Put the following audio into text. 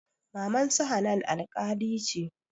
Mamansu hanan alƙali ce